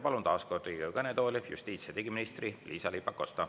Palun taas Riigikogu kõnetooli justiits- ja digiminister Liisa-Ly Pakosta.